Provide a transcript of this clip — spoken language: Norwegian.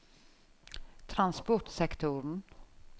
transportsektoren